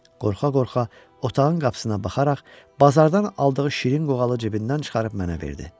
Qorxa-qorxa otağın qapısına baxaraq bazardan aldığı şirin qoğalı cibindən çıxarıb mənə verdi.